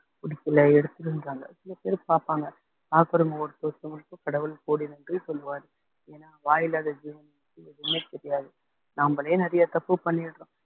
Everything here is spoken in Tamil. பிடிக்கலை எடுத்துருன்றாங்க சில பேர் பார்ப்பாங்க பார்க்குறவங்க ஒருத்தவங்களுக்கு கடவுள் கோடி நன்றி சொல்வாரு ஏன்னா வாயில்லாத ஜீவன் எதுவுமே தெரியாது நாமளே நிறையா தப்பு பண்ணி இருக்கோம்